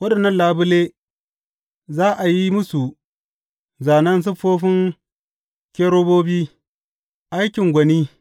Waɗannan labule za a yi musu zānen siffofin kerubobi, aikin gwani.